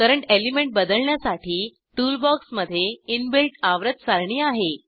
current element बदलण्यासाठी टूलबॉक्समधे inbuilt आवर्त सारणी आहे